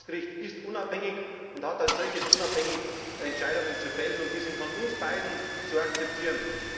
Ein Verfassungsgericht ist unabhängig und hat als solches unabhängige Entscheidungen zu fällen, und die sind von uns beiden zu akzeptieren.